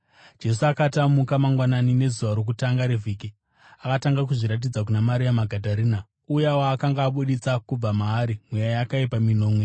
Jesu akati amuka mangwanani nezuva rokutanga revhiki, akatanga kuzviratidza kuna Maria Magadharena, uya waakanga abudisa kubva maari mweya yakaipa minomwe.